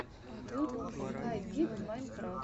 ютуб скай дид майнкрафт